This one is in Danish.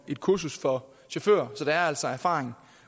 et kursus for chauffører så der er altså erfaring